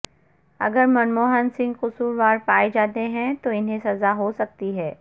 اگر منموہن سنگھ قصوروار پائے جاتے ہیں تو انہیں سزا ہو سکتی ہے